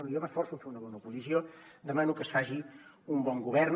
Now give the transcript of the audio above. bé jo m’esforço a fer una bona oposició demano que es faci un bon govern